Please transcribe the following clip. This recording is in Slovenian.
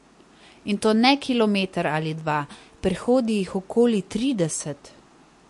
In to ne kilometer ali dva, prehodi jih okoli trideset.